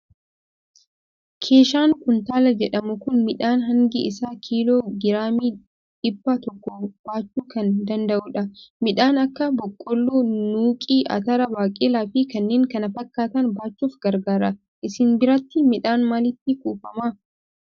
Keeshaan kuntaala jedhamu kun midhaan hangi isaa kiiloo giraamii dhibba tokko baachuu kan danda'udha. Midhaan akka boqqolloo, nuuqii, atara, baaqelaa fi kanneen kana fakkaatan baachuuf gargaara. Isin biratti midhaan maalitti kuufama?